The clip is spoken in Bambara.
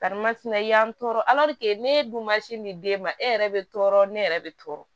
i y'an tɔɔrɔ ne dun ma sin di den ma e yɛrɛ bɛ tɔɔrɔ ne yɛrɛ bɛ tɔɔrɔ